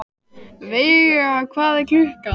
Veiga, hvað er klukkan?